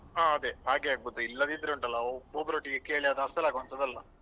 ಹಾ ಅದೇ ಹಾಗೆ ಆಗ್ಬೋದು ಇಲ್ಲದಿದ್ರೆ ಉಂಟಲ್ಲ ಒಬ್ಬೊಬ್ಬರೊಟ್ಟಿಗೆ ಕೇಳಿ ಅದು ಅಸಲ್ ಆಗುವಂತದ್ದು ಅಲ್ಲ.